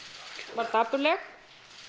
var dapurleg